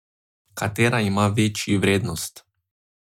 Katera ima večji vrednost?